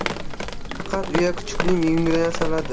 Faqat uya kuchukning yungidan yasaladi.